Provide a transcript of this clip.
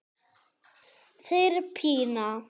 segir Pína.